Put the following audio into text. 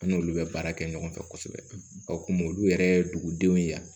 An n'olu bɛ baara kɛ ɲɔgɔn fɛ kosɛbɛ o kun olu yɛrɛ ye dugudenw ye